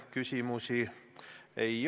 Mis on teie kui ministri roll?